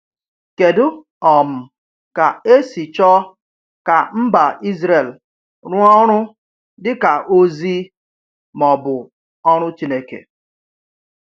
Kedu um ka e si chọọ ka mba Israel rụọ ọrụ dị ka “ozi” ma ọ bụ “orù” Chineke?